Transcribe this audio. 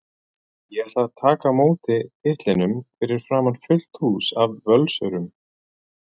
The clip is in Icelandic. Ég ætla að taka á móti titlinum fyrir framan fullt hús af Völsurum.